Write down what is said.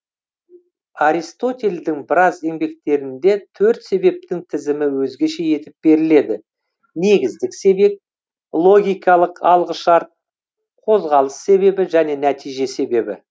аристотельдің біраз еңбектерінде төрт себептің тізімі өзгеше етіп беріледі негіздік себеп логикалық алғышарт қозғалыс себебі және нәтиже себебі